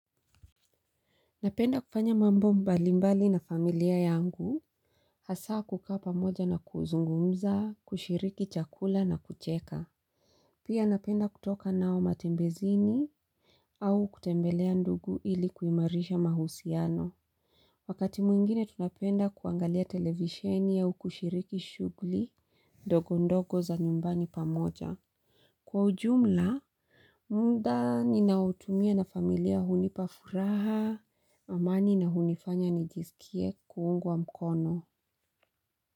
Napenda kufanya mambo mbali mbali na familia yangu. Hasa kukaa pamoja na kuzungumza, kushiriki chakula na kucheka. Pia napenda kutoka nao matembezini au kutembelea ndugu ili kuimarisha mahusiano. Wakati mwingine tunapenda kuangalia televisheni au kushiriki shughuli ndogo ndogo za nyumbani pamoja. Kwa ujumla, muda ninaotumia na familia hunipa furaha, amani na hunifanya nijisikie kuungwa mkono.